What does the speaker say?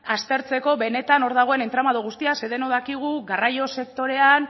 aztertzeko benetan hor dagoen entramado guztia ze denok dakigu garraio sektorean